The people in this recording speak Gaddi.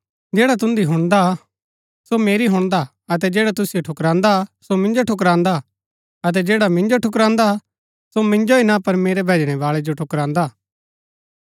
जैडा तुन्दी हुणदा हा सो मेरी हुणदा अतै जैडा तुसिओ ठुकरांदा सो मिन्जो ठुकरांदा अतै जैडा मिन्जो ठुकरांदा सो मिन्जो ही ना पर मेरै भैजणै बाळै जो ठुकरांदा